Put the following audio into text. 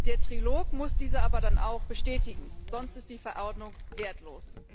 Der Trilog muss diese dann aber auch bestätigen, sonst ist die Verordnung wertlos.